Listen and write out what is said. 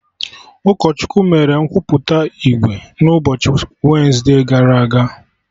Ụkọchukwu mere nkwupụta ìgwè n'ụbọchị wensde gara aga